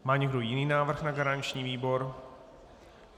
Má někdo jiný návrh na garanční výbor?